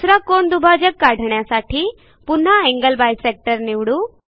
दुसरा कोन दुभाजक काढण्यासाठी पुन्हा एंगल बायसेक्टर निवडू